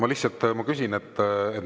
Ei, lihtsalt ma küsin.